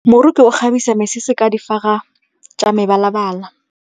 Moroki o kgabisa mesese ka difaga tsa mebalabala.